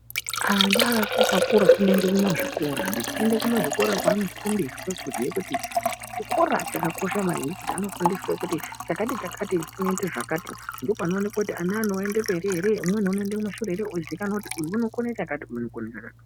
Ana achakura anoende kumazvikora anditi anoenda kumazvikora kwanofundiswe kuziye kuti chikora chakakosha maningi ngekuti vanofundiswa kuti chakati-chakati chinoite zvakati ndopanoonekwa kuti ana anoende mberi ere umweni unoende kumashure ere ozikanwa kuti uyu unokona chakati uyu unokona chakati.